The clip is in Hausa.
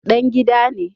Dan gida ne